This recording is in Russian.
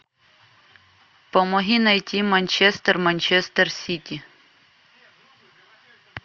помоги найти манчестер манчестер сити